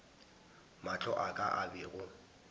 mahlo a ka a bego